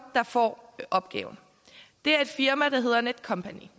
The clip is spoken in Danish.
der får opgaven det er et firma der hedder netcompany de